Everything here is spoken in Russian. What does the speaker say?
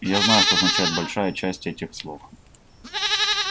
я знаю что означает большая часть этих слов